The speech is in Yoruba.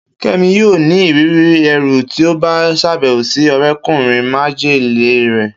Kemi yoo ni iriri ẹru ti o ba ṣabẹwo si ọrẹkunrin majele rẹ